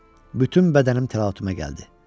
Bütün bədənim təlatümə gəldi.